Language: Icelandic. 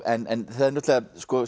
en það sko